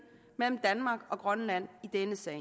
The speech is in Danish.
mellem danmark og grønland i denne sag